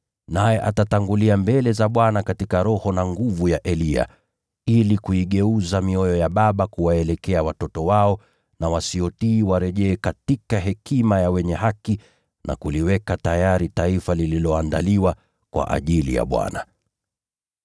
Naye atatangulia mbele za Bwana katika roho na nguvu ya Eliya, ili kuigeuza mioyo ya baba kuwaelekea watoto wao, na wasiotii warejee katika hekima ya wenye haki, ili kuliweka tayari taifa lililoandaliwa kwa ajili ya Bwana.”